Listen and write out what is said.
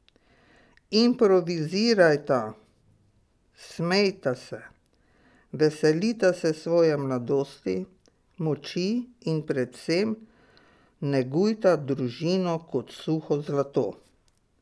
Improvizirajta, smejta se, veselita se svoje mladosti, moči in predvsem negujta družino kot suho zlato.